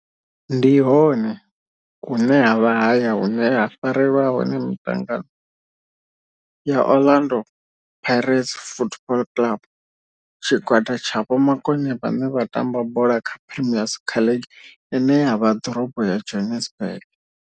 Ndi hone hune havha haya hune ha farelwa hone mitangano ya Orlando Pirates Football Club. Tshigwada tsha vhomakone vhane vha tamba kha Premier Soccer League ine ya vha Dorobo ya Johannesburg.